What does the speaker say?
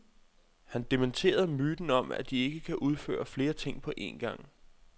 Han dementerede myten om, at de ikke kan udføre flere ting på en gang.